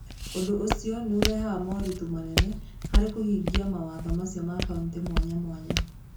Ũndũ ũcio nĩ ũrehaga moritũ manene harĩ kũhingia mawatho macio ma kaunti mwanya mwanya.